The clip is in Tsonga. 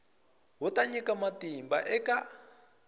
wu ta nyika matimba eka